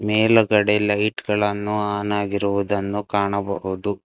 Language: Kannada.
ಮೇಲಗಡೆ ಲೈಟ್ ಗಳನ್ನು ಆನ್ ಆಗಿರುದನ್ನು ಕಾಣಬಹುದು.